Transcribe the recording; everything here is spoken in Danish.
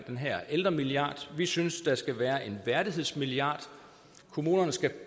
den her ældremilliard vi synes der skal være en værdighedsmilliard kommunerne skal